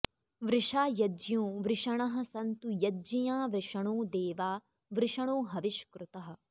वृषा यज्ञो वृषणः सन्तु यज्ञिया वृषणो देवा वृषणो हविष्कृतः